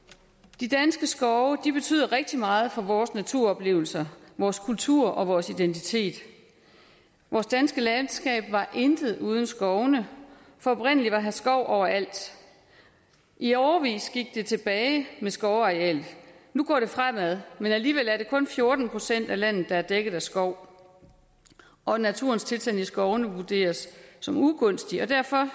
de danske skove betyder rigtig meget for vores naturoplevelser vores kultur og vores identitet vores danske landskab var intet uden skovene for oprindelig var her skov overalt i årevis gik det tilbage med skovarealet nu går det fremad men alligevel er det kun fjorten procent af landet der er dækket af skov og naturens tilstand i skovene vurderes som ugunstig derfor